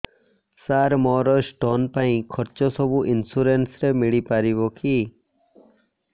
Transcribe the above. ସାର ମୋର ସ୍ଟୋନ ପାଇଁ ଖର୍ଚ୍ଚ ସବୁ ଇନ୍ସୁରେନ୍ସ ରେ ମିଳି ପାରିବ କି